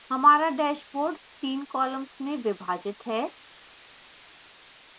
हमारा dashboard 3 columns में विभाजित है